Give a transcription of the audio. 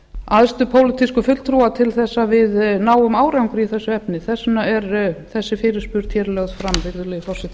æðstu pólitísku fulltrúa til þess að við náum árangri í þessu efni þess vegna er þessi fyrirspurn lögð fram virðulegi forseti